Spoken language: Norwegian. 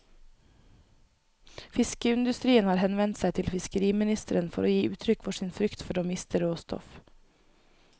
Fiskeindustrien har henvendt seg til fiskeriministeren for å gi uttrykk for sin frykt for å miste råstoff.